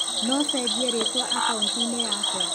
No cenjie rĩtwa akaũnti-inĩ yakwa?